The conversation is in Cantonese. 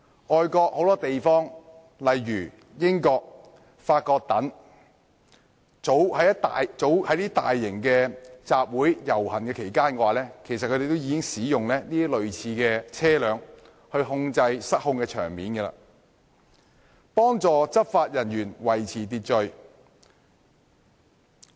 外國許多地方，例如英國、法國等，早已在大型集會或遊行期間使用類似的車輛處理失控的場面，幫助執法人員維持秩序。